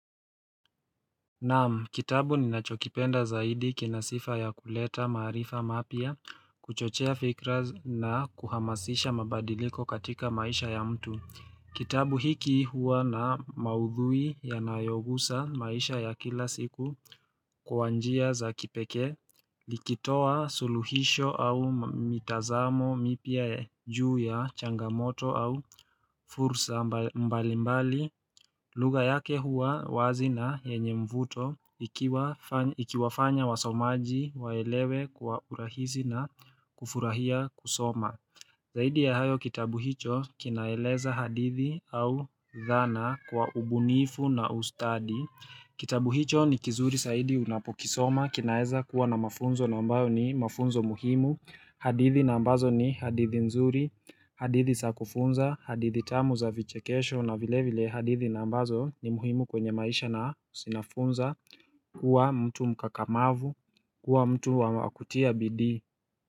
Naam kitabu ninachokipenda zaidi kina sifa ya kuleta marifa mapya kuchochea fikra na kuhamasisha mabadiliko katika maisha ya mtu. Kitabu hiki huwa na maudhui yanayogusa maisha ya kila siku kwa njia za kipekee ikitoa suluhisho au mitazamo mipya juu ya changamoto au fursa mbalimbali lugha yake huwa wazi na yenye mvuto ikiwafanya wasomaji waelewe kwa urahisi na kufurahia kusoma zaidi ya hayo kitabu hicho kinaeleza hadithi au dhana kwa ubunifu na ustadi. Kitabu hicho ni kizuri zaidi unapokisoma kinaeza kuwa na mafunzo na ambayo ni mafunzo muhimu hadithi na ambazo ni hadithi nzuri hadithi za kufunza hadithi tamu za vichekesho na vile vile hadithi na ambazo ni muhimu kwenye maisha na zinafunza. Kuwa mtu mkakamavu kuwa mtu wa kutia bidii.